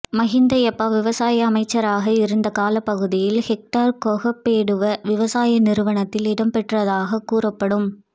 மஹிந்த யாப்பா விவசாய அமைச்சராக இருந்த காலப்பகுதியில் ஹெக்டர் கொப்பேகடுவ விவசாய நிறுவனத்தில் இடம்பெற்றதாகக் கூறப்படும்